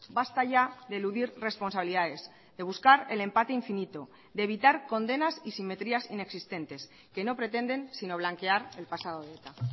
basta ya de eludir responsabilidades de buscar el empate infinito de evitar condenas y simetrías inexistentes que no pretenden sino blanquear el pasado de eta